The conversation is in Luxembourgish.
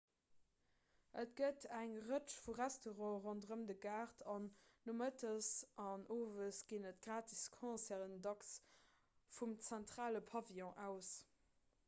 et gëtt eng rëtsch vu restaurante ronderëm de gaart an nomëttes an owes ginn et gratis concerten dacks vum zentrale pavillon aus